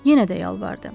Yenə də yalvardı.